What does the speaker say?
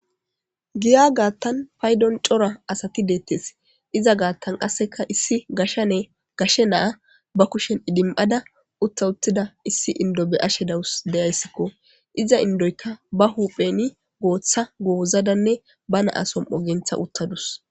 Giya gaattan paydon cora asati deettes iza gaattan qasseka issi gashane gashe naa ba kushen idim7ada utta uttida issi indo be ashe dawus deyayssikko iza indoykka ba hupheni gooththa goozadanne ba naasom ogentha uttadus.